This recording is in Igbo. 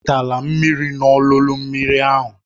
Ewetela mmiri n'olulu mmiri ahụ